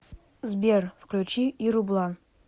сбер включи иру блан